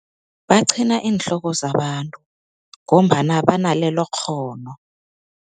Baqhina iinhloko zabantu ngombana banalelokghono.